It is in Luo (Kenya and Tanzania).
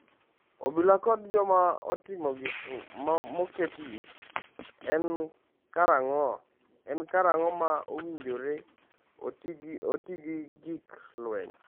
Obila kod Joma Otimo Gik Moketi: En karang’o ma owinjore oti gi gik lweny?